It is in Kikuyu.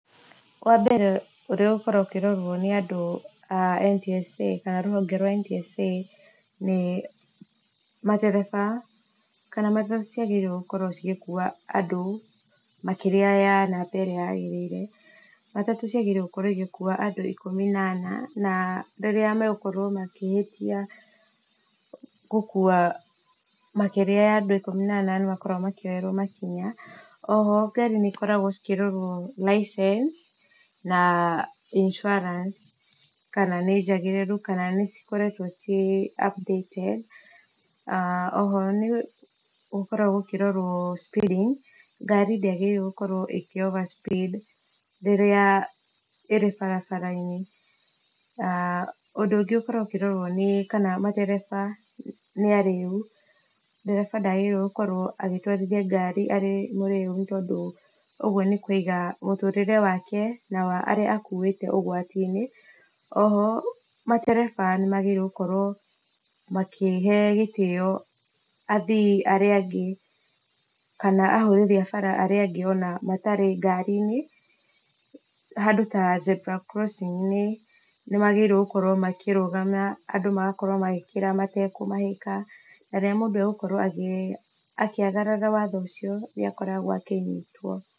Wa mbere ũrĩa ũgũkorwo ũkĩrorwo nĩ andũ a NTSA kana rũhonge rwa NTSA nĩ matereba kana matatũ cĩagĩrĩire gũgĩkũa andũ makĩrĩa ya namba ĩrĩa yagĩrĩrĩe, mataũ ciagĩrĩrwo gũkorwo ĩgĩkũa andũ ĩkũmĩ na ana na rĩrĩa magũkorwo makĩhĩtĩa gũkũa andũ makĩrĩa ĩkũmĩ na ana nĩmakoragwo makĩoyerwo makĩnya, oho garĩ nĩcikoragwo cikĩrorwo licence na insuarance kana nĩ jagĩrĩrũ kana cikoretwo cie updated, oho nĩ gũkoragwo gũkĩrorwo speeding garĩ dĩagĩrĩrwo gũkorwo ĩgĩ overspeed rĩrĩa ĩrĩ barabara inĩ na ũndũ ũngĩ ũgĩkoragwo ũkĩrorwo, nĩ kana matereba nĩ arĩũ ndereba ndagĩrĩire gũtwarĩthĩa garĩ e mũreũ nĩ tondũ ũgũo nĩ kũĩga mũtũrĩre wake na wa ũrĩa makũĩte ũgwati inĩ oho matereba nĩ magĩrĩirwo gũkorwo makĩ he gĩtĩo athĩ arĩa angĩ, kana ahũthĩri a bara arĩa angĩ ona matarĩ ngarĩ inĩ handũ ta zebra crossing inĩ nĩmagĩrĩire gũkorwo makĩrũgama andũ magakorwo magĩkĩra matagũmahĩka na rĩrĩa mũndũ agũkorwo agĩ agarara watho ũcio nĩ akoragwo akĩnyĩtwo.